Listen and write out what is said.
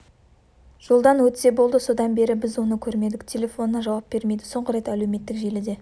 жолдан өтсе болды содан бері біз оны көрмедік телефонына жауап бермейді соңғы рет әлеуметтік желіде